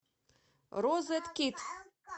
розеткид